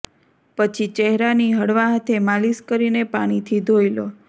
પછી ચહેરાની હળવા હાથે માલિશ કરીને પાણીથી ધોઈ લો